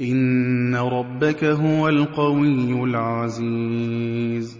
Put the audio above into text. إِنَّ رَبَّكَ هُوَ الْقَوِيُّ الْعَزِيزُ